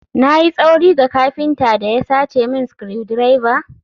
Na yi tsauri ga kafinta da ya sace min screwdriver?